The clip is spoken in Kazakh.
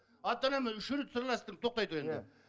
ата анамен үш рет сырластым тоқтай тұр енді